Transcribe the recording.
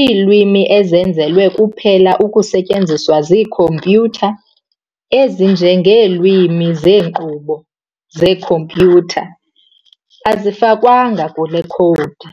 Iilwimi ezenzelwe kuphela ukusetyenziswa ziikhompyuter, ezinje ngeelwimi zenkqubo yekhompyuter, azifakwanga kule khowudi.